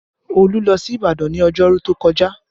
Olu lọ sí Ìbàdàn ní ọjọ́rú tó kọjá